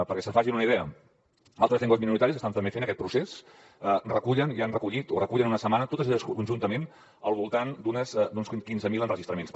perquè se’n facin una idea altres llengües minoritàries que estan també fent aquest procés recullen i han recollit o recullen en una setmana totes conjuntament al voltant d’uns quinze mil enregistraments